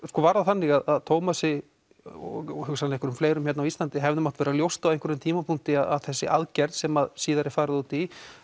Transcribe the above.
var það þannig að Tómasi og kannski einhverjum fleirum hér á Íslandi hefði mátt vera ljóst á einhverjum tímapunkti að þessi aðgerð sem síðar er farið út í